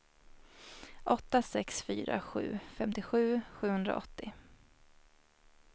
åtta sex fyra sju femtiosju sjuhundraåttio